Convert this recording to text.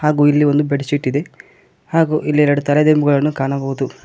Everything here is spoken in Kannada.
ಹಾಗು ಇಲ್ಲಿ ಒಂದು ಬೆಡ್ಶೀಟ್ ಇದೆ ಹಾಗು ಇಲ್ಲಿ ಎರಡು ತಲೆ ದಿಂಬುಗಳನ್ನು ಕಾಣಬಹುದು.